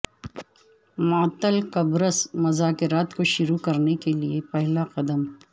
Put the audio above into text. معطل قبرص مذاکرات کو شروع کرنے کے لیے پہلا قدم